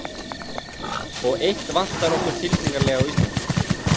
Og eitt vantar okkur tilfinnanlega á Íslandi.